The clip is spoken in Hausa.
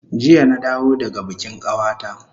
Jiya na dawo daga bikin kawata